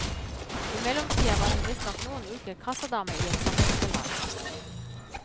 I mellomtida var hun visstnok noen uker kassadame i et samvirkelag.